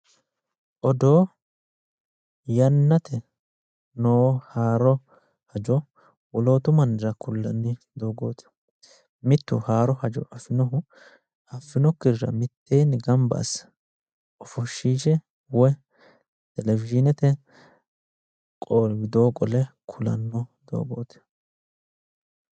Odoo yannateni no haaro hajo wolootu mannira ku'lanni doogoti ,mitu haaro hajo afinohu affinokkirira mittowa gamba asse ofoshishe woyi televishinete widooni qole ku'lano doogoti